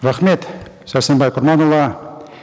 рахмет сәрсенбай құрманұлы